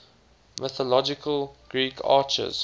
mythological greek archers